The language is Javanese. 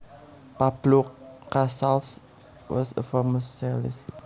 Pablo Casals was a famous cellist